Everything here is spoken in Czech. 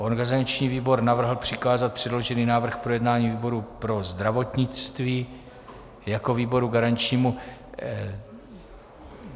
Organizační výbor navrhl přikázat předložený návrh k projednání výboru pro zdravotnictví jako výboru garančnímu.